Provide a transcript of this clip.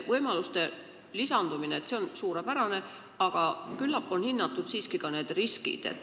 Võimaluste lisandumine on suurepärane, aga küllap on siiski hinnatud ka võimalikud riskid.